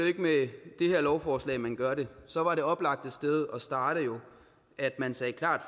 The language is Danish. ikke med det her lovforslag man gør det så var det oplagte sted at starte jo at man sagde klart